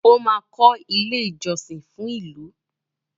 ọ má kò ilé ìjósìn fún ìlú.